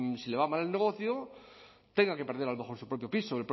pues si le va mal el negocio tenga que perder a lo mejor su propio piso o